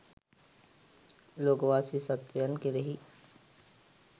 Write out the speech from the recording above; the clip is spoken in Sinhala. ලෝකවාසී සත්වයන් කෙරෙහි